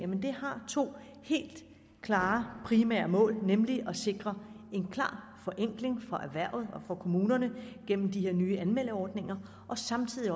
har to helt klare primære mål nemlig at sikre en klar forenkling for erhvervet og for kommunerne gennem de her nye anmeldeordninger og samtidig